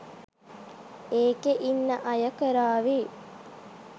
ඒකෙ ඉන්න අය කරාවි